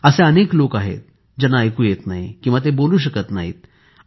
असे अनेक लोक आहेत ज्यांना ऐकू येत नाही किंवा ते बोलू शकत नाहीत